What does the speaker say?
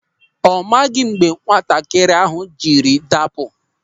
Ọ maghị mgbe nwatakịrị ahụ jiri dapụ.